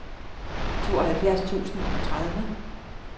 tooghalvfjerds tusind og tredive